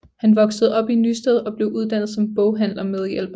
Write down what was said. Han voksede op i Nysted og blev uddannet som boghandlermedhjælper